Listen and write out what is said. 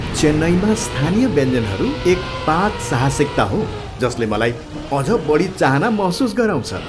चेन्नईमा स्थानीय व्यञ्जनहरू एक पाक साहसिकता हो जसले मलाई अझ बढी चाहना महसुस गराउँछ।